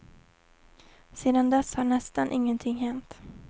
Sedan dess har nästan ingenting hänt.